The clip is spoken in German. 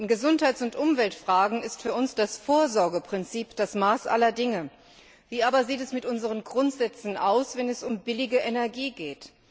In Gesundheits und Umweltfragen ist für uns das Vorsorgeprinzip das Maß aller Dinge. Wie aber sieht es mit unseren Grundsätzen aus, wenn es um billige Energie geht?